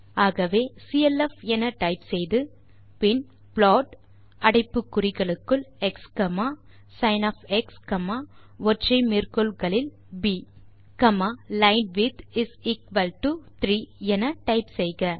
ஆகவே சிஎல்எஃப் என டைப் செய்து பின் ப்ளாட் அடைப்பு குறிகளுக்குள் எக்ஸ் சின் ஒற்றை மேற்கோள் குறிகளுக்குள் ப் லைன்விட்த் இஸ் எக்குவல் டோ 3 என டைப் செய்க